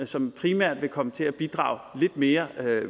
som primært vil komme til at bidrage lidt mere